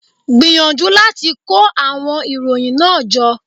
Gbìyànjú láti kó àwon ìròyìn náà jọ